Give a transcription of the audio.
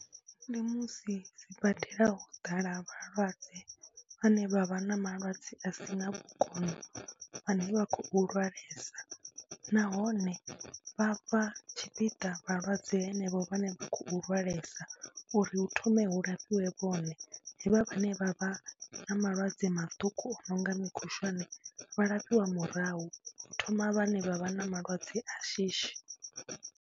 Ndi musi sibadela ho ḓala vhalwadze vhane vha vha na malwadze a si na vhukono vhane vha khou lwalesa nahone vha fha tshipiḓa vhalwadze henevho vhane vha khou lwalesa uri hu thome hu lafhiwe vhone, havha vhane vha vha na malwadze maṱuku o no nga mikhushwane vha lafhiwe murahu, hu thoma vhane vha vha na malwadze a shishi.